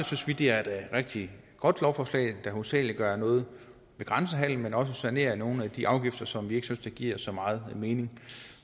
synes vi det er et rigtig godt lovforslag der hovedsagelig gør noget ved grænsehandelen men også sanerer nogle af de afgifter som vi ikke synes der giver så meget mening